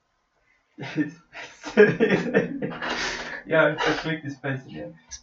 Ste vedeli, da obstajajo ženske, ki lahko orgazem doživijo zgolj s stimulacijo bradavičk?